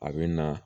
A bɛ na